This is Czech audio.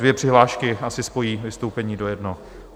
Dvě přihlášky asi spojí vystoupení do jednoho.